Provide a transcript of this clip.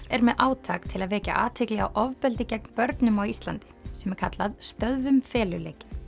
er með átak til að vekja athygli á ofbeldi gegn börnum á Íslandi sem kallað stöðvum feluleikinn